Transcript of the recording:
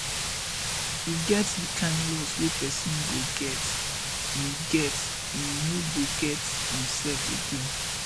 e get di kine loss wey person go get im get im no go get im self again